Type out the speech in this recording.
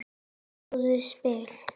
búið spil.